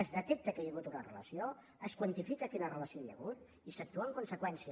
es detecta que hi ha hagut una relació es quantifica quina relació hi ha hagut i s’actua en conseqüència